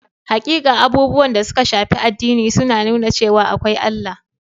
Hakika, abubuwan da suka shafi addini sun nuna cewa akwai Allah.